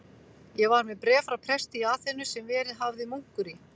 Ég var með bréf frá presti í Aþenu, sem verið hafði munkur í